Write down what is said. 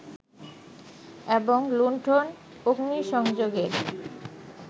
এবং লুন্ঠন-অগ্নিসংযোগের